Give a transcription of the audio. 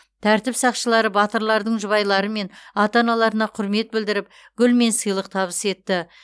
тәртіп сақшылары батырлардың жұбайлары мен ата аналарына құрмет білдіріп гүл мен сыйлық табыс етті